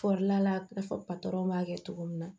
Fɔlila fɔ patɔrɔn b'a kɛ cogo min na